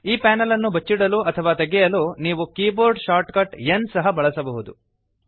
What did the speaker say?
ಈ ಪ್ಯಾನೆಲ್ ಅನ್ನು ಬಚ್ಚಿಡಲು ಅಥವಾ ತೆಗೆಯಲು ನೀವು ಕೀಬೋರ್ಡ್ ಶಾರ್ಟಕಟ್ N ಸಹ ಬಳಸಬಹುದು